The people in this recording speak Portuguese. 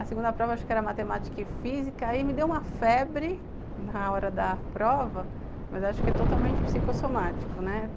A segunda prova eu acho que era Matemática e Física, aí me deu uma febre na hora da prova, mas acho que é totalmente psicossomático, né?